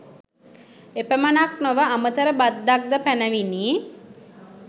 එපමණක් නොව අමතර බද්දක් ද පැනවිණි.